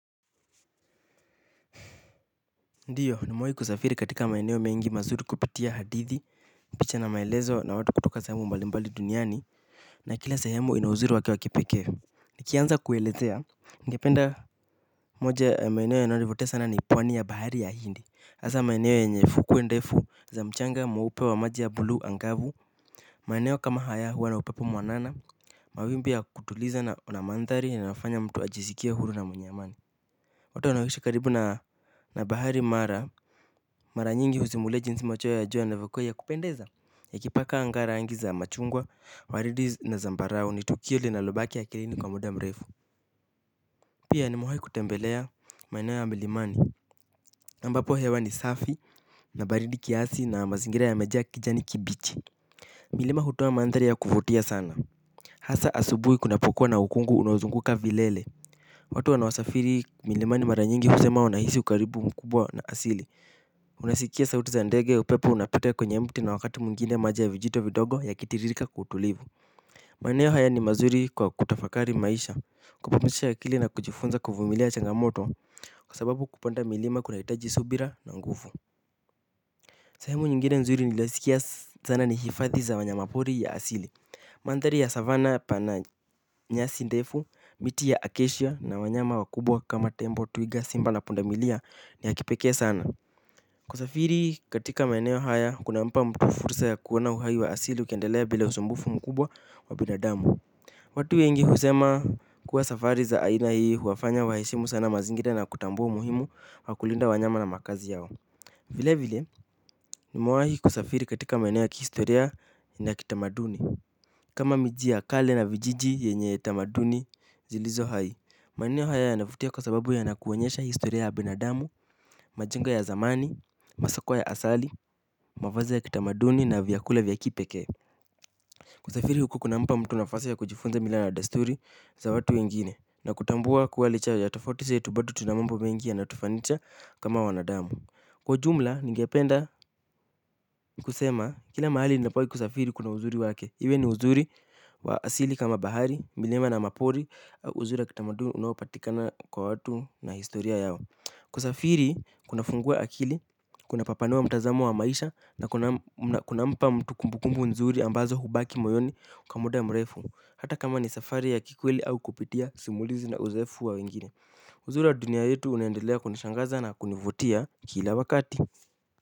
Ndiyo ni mewai kusafiri katika maeneo mengi mazuri kupitia hadithi picha na maelezo na watu kutoka sehemu mbalimbali duniani na kila sehemu ina uzuri wa ke wa kipekee nikianza kuelezea ningependa moja ya maeneo yananivutia sana ni pwani ya bahari ya hindi asa maeneo ye nye fukwe ndefu za mchanga mweupe wa maji ya bleu angavu maeneo kama haya huwa na upepo mwanana mawimbi ya kutuliza na namandhari inayofanya mtu ajisikia huru na mwenye amani watu wanaowishi karibu na na bahari mara maranyingi huzimulia jinsi machweo ya jua yanavyokua ya kupendeza. Ya kipaka anga ra ngi za machungwa, waridi na zambarao ni tukio li na lobaki a kilini kwa muda mrefu. Pia ni mewai kutembelea maineo ya milimani na ambapo hewa ni safi na baridi kiasi na mazingira yamejaa kijani kibichi. Milima hutoa mandhari ya kufutia sana. Hasa asubui kunapokuwa na ukungu unaozunguka vilele. Watu wanaosafiri milimani maranyingi husema wanahisi ukaribu mkubwa na asili. Unasikia sauti za ndege upepo unapita kwenye mti na wakati mwingine maji ya vijito vidogo ya kitiririka kwa utulivu. Maeneo haya ni mazuri kwa kutafakari maisha. Kupumsisha akili na kujifunza kufumilia changamoto. Kwa sababu kupanda milima kunahitaji subira na nguvu. Sehemu nyingine nzuri nilaiskia zana ni hifadhi za wanyama pori ya asili. Mandhari ya savana pana nyasi ndefu, miti ya akashia na wanyama wakubwa kama tembo twiga simba na pundamilia yakipekee sana kusafiri katika maeneo haya kuna mpa mtu fursa ya kuona uhai wa asili ukiendelea bila usumbufu mkubwa wa binadamu. Watu wengi husema kuwa safari za aina hii huwafanya waheshimu sana mazingira na kutambua umuhimu wa kulinda wanyama na makazi yao. Vile vile ni mewahi kusafiri katika maeneo kihistoria na kitamaduni kama miji ya kale na vijiji yenye tamaduni zilizo hai maeneo haya ya navutia kwa sababu ya nakuonyesha historia ya binadamu, majengo ya zamani, masoko ya asali, mafazi ya kitamaduni na vyakula vya kipekee. Kusafiri huku kuna mpa mtu nafasi ya kujifunza mila na desturi za watu wengine na kutambua kuwa licha ya tofauti ze tu bado tunamambo mengi ya na tufanicha kama wanadamu. Kwa ujumla, ningependa ni kusema, kila mahali ni napowai kusafiri kuna uzuri wake. Iwe ni uzuri wa asili kama bahari, milima na mapori au uzuri wakitamaduni unaopatikana kwa watu na historia yao. Ku safiri, kuna fungua akili, kuna papanua mtazamo wa maisha na kuna mpa mtu kumbukumbu nzuri ambazo hubaki moyoni kwamuda mrefu. Hata kama ni safari ya kikweli au kupitia simulizi na uzoefu wa wengine uzuri wa dunia yetu unaendelea kunishangaza na kunivutia kila wakati.